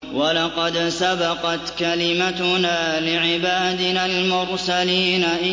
وَلَقَدْ سَبَقَتْ كَلِمَتُنَا لِعِبَادِنَا الْمُرْسَلِينَ